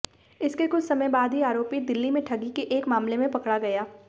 इसके कुछ समय बाद ही आरोपी दिल्ली में ठगी के एक मामले में पकड़ा गया